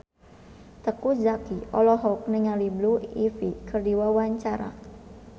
Teuku Zacky olohok ningali Blue Ivy keur diwawancara